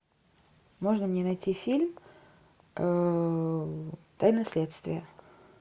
можно мне найти фильм тайна следствия